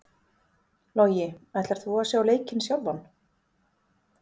Logi: Ætlar þú að sjá leikinn sjálfan?